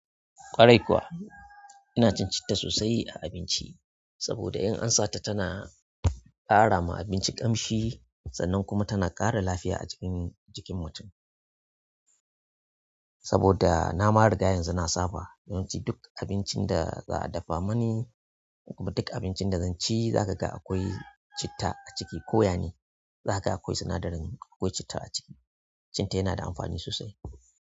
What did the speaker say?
Ƙwarai kuwa, ina cin citta sosai a abinci saboda in an sata tana ƙara ma abinci ƙamshi, sannan kuma tana ƙara lafiya a jikin, jikin mutum. Saboda na ma riga yanzu na saba, yawanci duk abincin da za'a dafa mani kuma duk abincin da zan ci, za ka ga akwai citta a ciki ko ya ne za ka ga akwai sinadarin, akwai citta a ciki. Citta yana da amfani sosai.